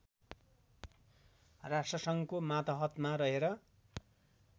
राष्ट्रसङ्घको मातहतमा रहेर